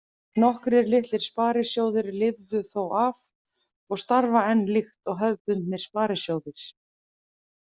Nokkrir litlir sparisjóðir lifðu þó af og starfa enn líkt og hefðbundnir sparisjóðir.